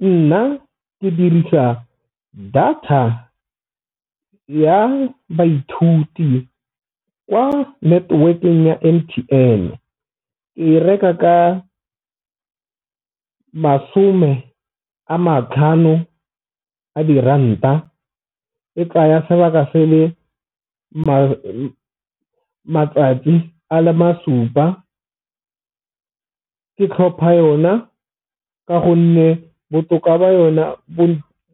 Nna ke dirisa data ya baithuti kwa network-eng ya M_T_N-e ke reka ka masome a matlhano a diranta e tsaya sebaka se le matsatsi a le ma supa. Ke tlhopha yona ka gonne botoka ba yona bo